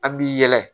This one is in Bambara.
An b'i yɛlɛ